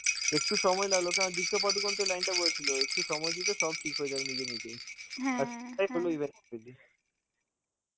একটু সময় লাগলো কারণ দীপিকা পাডুকোন তো line টা বলেছিল, সময় দিয়ে দাও, ঠিক হয়ে যাবে নিজে নিজেই. আর সেটাই হলো